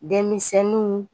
Denmisɛnniw.